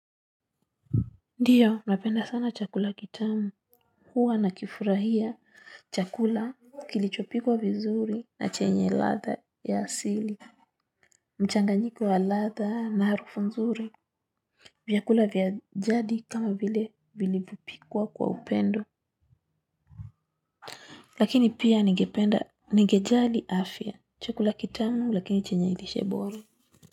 Ndiyo napenda sana chakula kitamu huwa na kifurahia chakula kilichopikwa vizuri na chenye ladha ya asili mchanganyiko ya ladha na harufu nzuri vyakula vya jadi kama vile vilivyopikwa kwa upendo lakini pia ningejali afya chakula kitamu lakini chenye lishe bora.